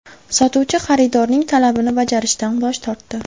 Sotuvchi xaridorning talabini bajarishdan bosh tortdi.